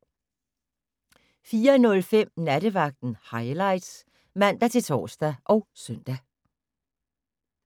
04:05: Nattevagten Highlights (man-tor og søn)